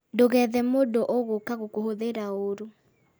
Ndugethe mũndũ ũgũka gũkũhũthĩra ũũru